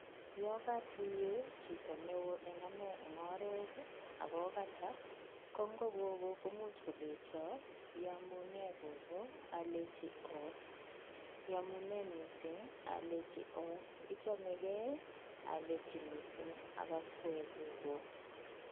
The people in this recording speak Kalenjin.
Yokatuiye chito neo eng ane eng oret akokata ko nko gogo komuch kolecho iamune gogo? Alechi oo, Iamune mising? Alechi oo Ichamegei? alechi mising ak akwek gogo.